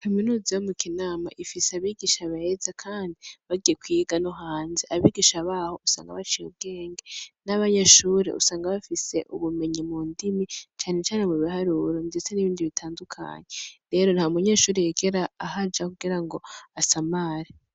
Kaminuza yo mu Kinama ifise abigisha beza kandi bagiye kwiga no hanze. Abigisha baho usanga baciye ubwenge n'abanyeshure usanga bafise ubumenyi mu ndimi cane cane mu biharuro ndetse n'ibindi bitandukanye. Rero nta munyeshure yigera ahaja kugirango asamare.